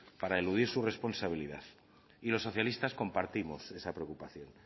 para eludir su responsabilidad y los socialistas compartimos esa preocupación